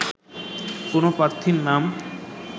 কোনো প্রার্থীর নাম